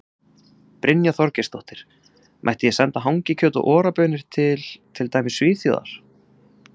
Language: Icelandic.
Brynja Þorgeirsdóttir: Mætti ég senda hangikjöt og Ora baunir til, til dæmis Svíþjóðar?